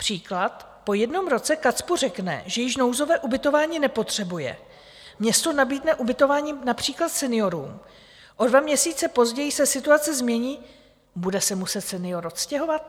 Příklad: Po jednom roce KACPU řekne, že již nouzové ubytování nepotřebuje, město nabídne ubytování například seniorům, o dva měsíce později se situace změní - bude se muset senior odstěhovat?